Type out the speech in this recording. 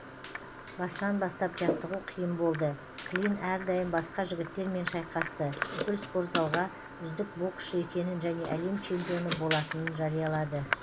басынан бастап жаттығу қиын болды клин әрдайым басқа жігіттермен шайқасты бүкіл спортзалға үздік боксшы екенін және әлем чемпионы болатынын жариялады